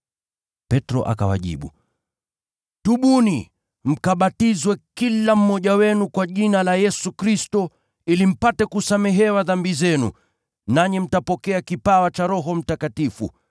Petro akawajibu, “Tubuni, mkabatizwe kila mmoja wenu kwa jina la Yesu Kristo, ili mpate kusamehewa dhambi zenu, nanyi mtapokea kipawa cha Roho Mtakatifu.